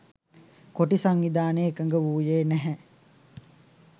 කොටි සංවිධානය එකඟ වූයේ නැහැ